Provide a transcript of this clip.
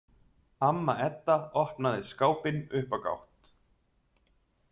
Amma Edda opnaði skápinn upp á gátt.